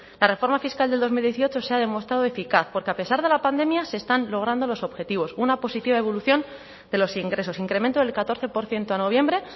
la reforma fiscal del dos mil dieciocho se ha demostrado eficaz porque a pesar de la pandemia se están logrando los objetivos una positiva evolución de los ingresos incremento del catorce por ciento a noviembre